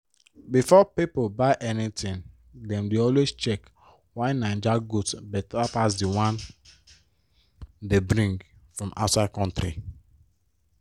before pipo buy anything dem dey always check why naija goods beta pass d one dey bring from outside country.